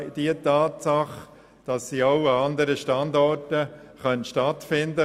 Der Anlass könnte auch an anderen Standorten stattfinden.